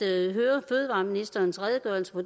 høre fødevareministerens redegørelse for